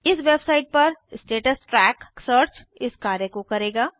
इस वेबसाइट पर status track search इस कार्य को करेगा